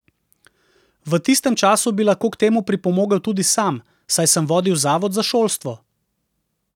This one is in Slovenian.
V tistem času bi lahko k temu pripomogel tudi sam, saj sem vodil zavod za šolstvo.